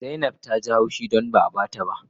Zainab Ta Yi hushi don ba a ba ta